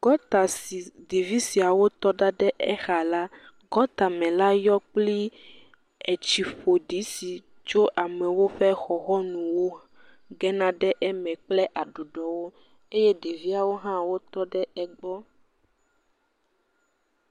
Gɔɔta si ɖevi siawo tɔ ɖa ɖe exa la, gɔɔtame la yɔ kpli etsi ƒo ɖi si tso amewo ƒe xɔxɔnuwo gena ɖe eme kple aɖuɖɔwo eye ɖeviawo hã tɔ ɖe egbɔ.